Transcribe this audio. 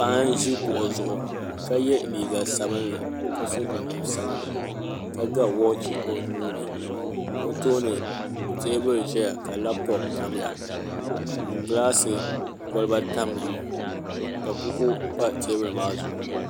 Paɣa n ʒi kuɣu zuɣu ka yɛ liiga sabinli ka so jinjɛm sabinli ka ga woochi o nuuni ka o tooni teebuli ʒɛya ka labtop tamya ka gilaasi kolba tamya ka buku pa teebuli maa zuɣu